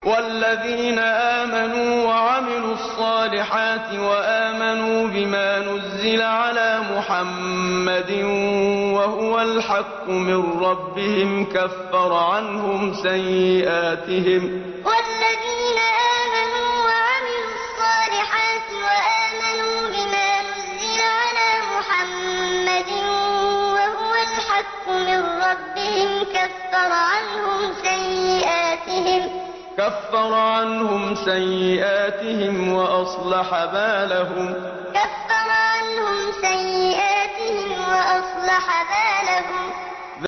وَالَّذِينَ آمَنُوا وَعَمِلُوا الصَّالِحَاتِ وَآمَنُوا بِمَا نُزِّلَ عَلَىٰ مُحَمَّدٍ وَهُوَ الْحَقُّ مِن رَّبِّهِمْ ۙ كَفَّرَ عَنْهُمْ سَيِّئَاتِهِمْ وَأَصْلَحَ بَالَهُمْ وَالَّذِينَ آمَنُوا وَعَمِلُوا الصَّالِحَاتِ وَآمَنُوا بِمَا نُزِّلَ عَلَىٰ مُحَمَّدٍ وَهُوَ الْحَقُّ مِن رَّبِّهِمْ ۙ كَفَّرَ عَنْهُمْ سَيِّئَاتِهِمْ وَأَصْلَحَ بَالَهُمْ